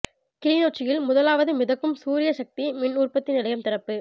கிளிநொச்சியில் முதலாவது மிதக்கும் சூரிய சக்தி மின் உற்பத்தி நிலையம் திறப்பு